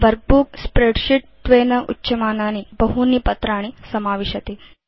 workbook spreadsheet त्वेन उच्यमानानि बहूनि पत्राणि समाविशति